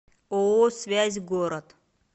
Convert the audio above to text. ооо связь город